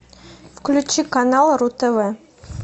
включи канал ру тв